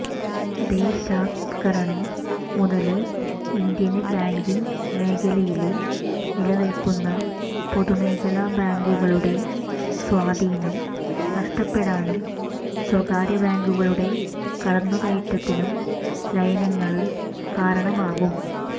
ദേശസാത്കരണം മുതല് Indian banking മേഖലയില് നിലനില്ക്കുന്ന പൊതുമേഖലാ ബാങ്കുകളുടെ സ്വാധീനം നഷ്ടപ്പെടാനും സ്വകാര്യ ബാങ്കുകളുടെ കടന്നുകയറ്റത്തിനും ലയനങ്ങള് കാരണമാകും